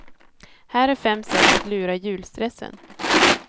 Här är fem sätt att lura julstressen.